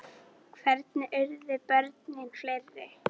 Hvernig urðu börnin fleiri?